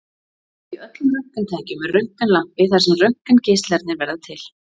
Í öllum röntgentækjum er röntgenlampi þar sem röntgengeislarnir verða til.